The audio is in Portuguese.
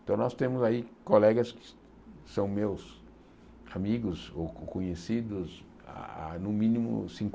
Então nós temos aí colegas que que são meus amigos ou co conhecidos há no mínimo